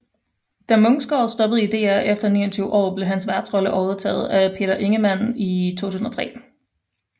Da Munksgaard stoppede i DR efter 29 år blev hans værtsrolle overtaget af Peter Ingemann i 2003